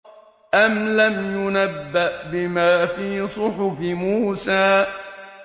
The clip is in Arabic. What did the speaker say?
أَمْ لَمْ يُنَبَّأْ بِمَا فِي صُحُفِ مُوسَىٰ